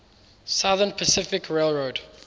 southern pacific railroad